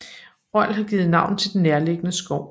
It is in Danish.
Rold har givet navn til den nærliggende skov